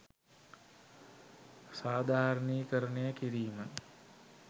සාධාරණීකරණය කිරීම.